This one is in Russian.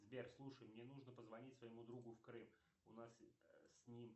сбер слушай мне нужно позвонить своему другу в крым у нас с ним